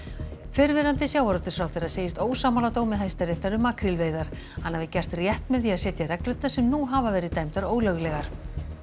fyrrverandi sjávarútvegsráðherra segist ósammála dómi Hæstaréttar um makrílveiðar hann hafi gert rétt með því að setja reglurnar sem nú hafa verið dæmdar ólöglegar